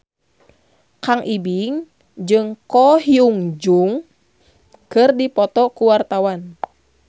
Kang Ibing jeung Ko Hyun Jung keur dipoto ku wartawan